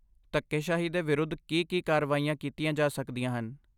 ਧੱਕੇਸ਼ਾਹੀ ਦੇ ਵਿਰੁੱਧ ਕੀ ਕੀ ਕਾਰਵਾਈਆਂ ਕੀਤੀਆਂ ਜਾ ਸਕਦੀਆਂ ਹਨ?